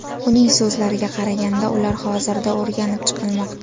Uning so‘zlariga qaraganda, ular hozirda o‘rganib chiqilmoqda.